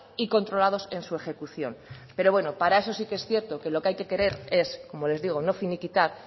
y controlados en su ejecución pero bueno para eso sí que es cierto que lo que hay que querer es como les digo no finiquitar